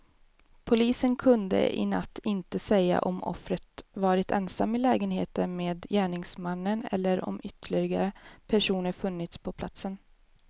Polisen kunde i natt inte säga om offret varit ensam i lägenheten med gärningsmännen eller om ytterligare personer funnits på platsen.